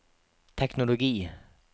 teknologi